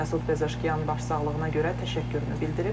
Məsud Pezeşkiyan başsağlığına görə təşəkkürünü bildirib.